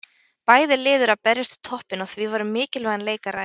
Bæði lið eru að berjast við toppinn og því var um mikilvægan leik að ræða.